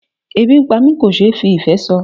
Ebi ń pá mi kò ṣe fí ìfé sọ.